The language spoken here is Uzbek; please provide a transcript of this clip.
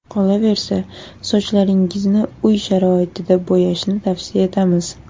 Qolaversa, sochlaringizni uy sharoitida bo‘yashni tavsiya etmaymiz.